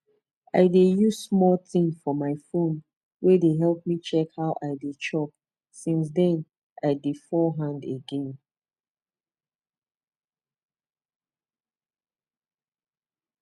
i dey use one small thing for my phone wey dey help me check how i dey chop since then i dey fall hand again